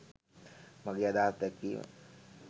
මගේ අදහස් දැක්වීම